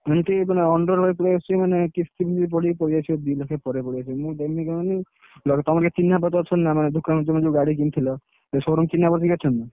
MT ମାନେ underwise ପଳେଇଆସିଛି ମାନେ କିସ୍ତି ଫିସ୍ତି ପଡିକି ପଳେଇଆସିବ ଦି ଲକ୍ଷ ପରେ ପଳେଇ ଆସିବ ମୁଁ ଦେମି କହନି ତମର କିଏ ଚିହ୍ନା ପରିଚ ଅଛନ୍ତି ନା ମାନେ ଦୋକାନ ତମେ ଯୋଉ ଗାଡି କିଣିଥିଲ ସେ showroom ଚିହ୍ନା ପରିଚ କିଏ ଅଛନ୍ତି?